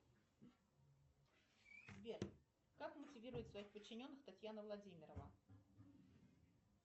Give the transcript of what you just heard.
сбер как мотивирует своих подчиненных татьяна владимирова